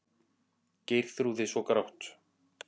Geirþrúði svo grátt.